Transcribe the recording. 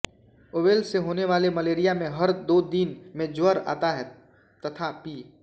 oval से होने वाले मलेरिया में हर दो दिन में ज्वर आता है तथा पी